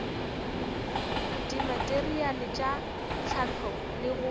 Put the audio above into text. dimateriale tša hlahlo le go